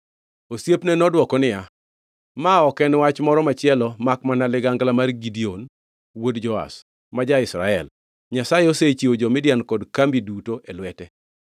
Osiepne nodwoko niya, “Ma ok en wach moro machielo makmana ligangla mar Gideon wuod Joash, ma ja-Israel. Nyasaye osechiwo jo-Midian kod kambi duto e lwete.”